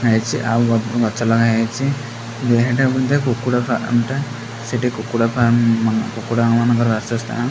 ହେଇଛି ଆଉ ଗଛ ଲଗା ହେଇଚି ଏହିଟା ବୋଧେ କୁକୁଡ଼ା ଫାର୍ମ ଟା ସେଟି କୁକୁଡ଼ା ଫାର୍ମ ମା କୁକୁଡ଼ା ମାନଙ୍କର ବାସସ୍ଥାନ।